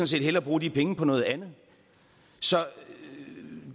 set hellere bruge de penge på noget andet så